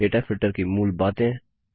data filter की मूल बातें